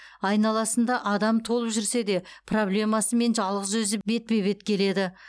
айналасында адам толып жүрсе де проблемасымен жалғыз өзі бетпе бет келеді